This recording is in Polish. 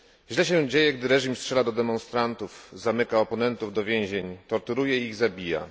Źle się dzieje, gdy reżim strzela do demonstrantów, zamyka oponentów do więzień, torturuje ich i zabija.